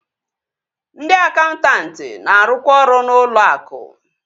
Ndị akaụntanti na-arụkwa ọrụ n'ụlọ akụ